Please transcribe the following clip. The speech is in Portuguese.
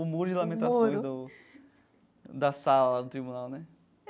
O muro de lamentações do da sala do tribunal né.